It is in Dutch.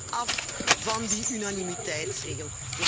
We moeten af van die unanimiteitsregel.